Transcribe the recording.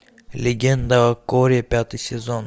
легенда о корре пятый сезон